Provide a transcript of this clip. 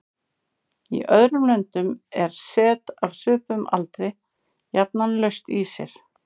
Í öðrum löndum er set af svipuðum aldri jafnan laust í sér.